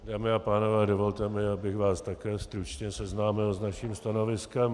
Dámy a pánové, dovolte mi, abych vás také stručně seznámil s naším stanoviskem.